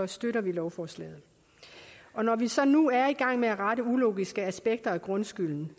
støtter vi lovforslaget når vi så nu er i gang med at rette ulogiske aspekter af grundskylden